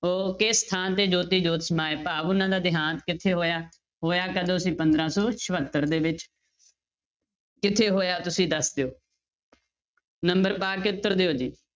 ਉਹ ਕਿਸ ਸਥਾਨ ਤੇ ਜੋਤੀ ਜੋਤ ਸਮਾਏ ਭਾਵ ਉਹਨਾਂ ਦਾ ਦਿਹਾਂਤ ਕਿੱਥੇ ਹੋਇਆ, ਹੋਇਆ ਕਦੋਂ ਸੀ ਪੰਦਰਾਂ ਸੌ ਚੋਹੱਤਰ ਦੇ ਵਿੱਚ ਕਿੱਥੇ ਹੋਇਆ ਤੁਸੀਂ ਦੱਸ ਦਿਓ number ਪਾ ਕੇ ਉੱਤਰ ਦਿਓ ਜੀ,